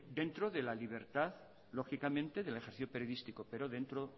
dentro de la libertad lógicamente del ejercicio periodístico pero dentro